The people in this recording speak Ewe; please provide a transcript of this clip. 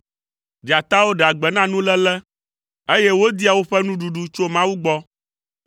Dzatawo ɖea gbe na nuléle, eye wodia woƒe nuɖuɖu tso Mawu gbɔ.